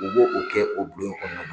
U bo o kɛ o bulon kɔnɔ.